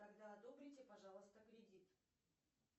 тогда одобрите пожалуйста кредит